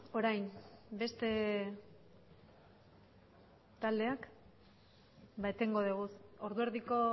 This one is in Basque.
orain beste taldeak etengo dugu ordu erdiko